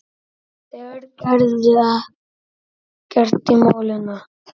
Þeir gerðu ekkert í málinu.